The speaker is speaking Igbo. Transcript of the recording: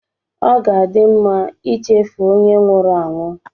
Ọ ga-adị mma ichefu onye nwụrụ anwụ